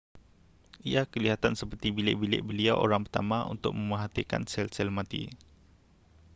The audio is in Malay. ia kelihatan seperti bilik-bilik beliau orang pertama untuk memerhatikan sel-sel mati